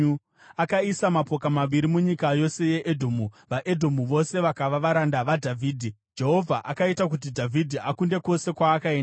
Akaisa mapoka avarwi munyika yose yeEdhomu, vaEdhomu vose vakava varanda vaDhavhidhi. Jehovha akaita kuti Dhavhidhi akunde kwose kwaakaenda.